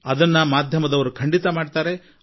ಅದನ್ನು ನಮ್ಮ ಮಾಧ್ಯಮದವರು ಖಂಡಿತಾ ಮಾಡುತ್ತಾರೆ